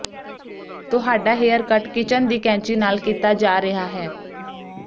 ਤੁਹਾਡਾ haircut kitchen ਦੀ ਕੈਂਚੀ ਨਾਲ ਕੀਤਾ ਜਾ ਰਿਹਾ ਹੈ